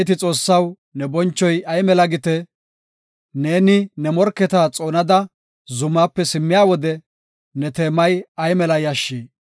Abeeti Xoossaw, ne bonchoy ay mela gite! Neeni ne morketa xoonada zumaape simmiya wode, ne teemay ay mela yashshi!